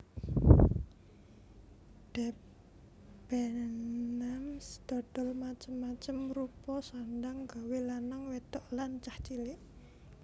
Debenhams dodol macem macem rupa sandhang gawe lanang wedhok lan cah cilik